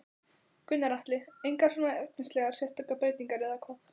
Gunnar Atli: Engar svona efnislegar sérstakar breytingar eða hvað?